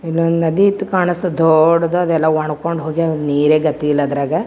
ಇಲ್ಲೊಂದು ನದಿ ಇತ್ತು ಕಾಣ್ಸ್ ತ್ತದ್ ದೊಡ್ಡದಾದ ಎಲ್ಲಾ ಒಣಕೊಂಡ್ ಹೋಗ್ಯಾವ್ ನೀರೆ ಗತಿಯಿಲ್ಲಾ ಅದ್ರಗ .